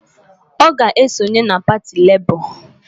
Ọ ga-esonye na pati Lebọ